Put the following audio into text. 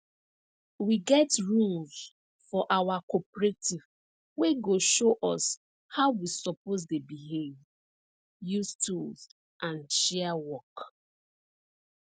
we get rules for our cooperative wey go show us how we suppose dey behave use tools and share work